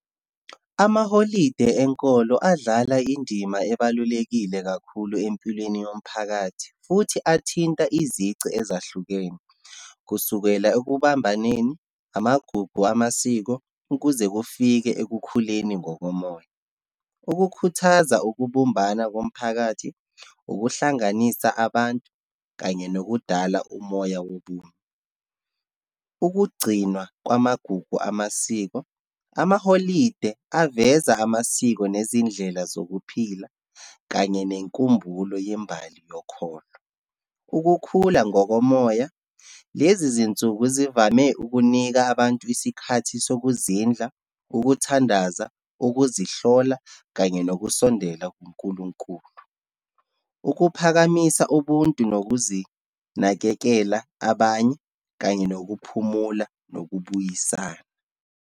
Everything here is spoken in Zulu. Amaholide enkolo adlala indima ebalulekile kakhulu empilweni yomphakathi, futhi athinta izici ezahlukene, kusukela ekubambaneni, amagugu amasiko, ukuze kufike ekukhuleni ngokomoya. Ukukhuthaza ukubumbana komphakathi, ukuhlanganisa abantu kanye nokudala umoya wobunye. Ukugcinwa kwamagugu amasiko, amaholide aveza amasiko nezindlela zokuphila kanye nenkumbulo yembali yokholo. Ukukhula ngokomoya, lezizinsuku zivame ukunika abantu isikhathi sokuzindla, ukuthandaza, ukuzihlola, kanye nokusondela kuNkulunkulu. Ukuphakamisa ubuntu nokuzinakekela, abanye, kanye nokuphumula, nokubuyisana.